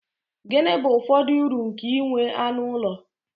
Gịnị bụ ụfọdụ uru nke inwe anụ ụlọ?